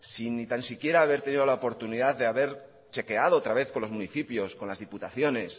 sin ni tan siquiera haber tenido la oportunidad de haber chequeado otra vez con los municipios con las diputaciones